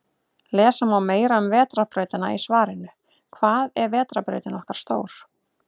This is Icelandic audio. Lesa má meira um Vetrarbrautina í svarinu Hvað er vetrarbrautin okkar stór?